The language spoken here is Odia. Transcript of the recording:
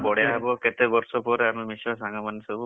ଆଉ ବଢିଆ ହବ କେତେ ବର୍ଷ ପରେ ଆମେ ମିଶିବା ସାଙ୍ଗ ମାନେ ସବୁ।